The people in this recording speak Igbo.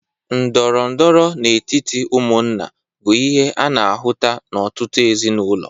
Ndọrọndọrọ n'etiti ụmụnna bụ ihe ana-ahụta n'ọtụtụ ezinaụlọ.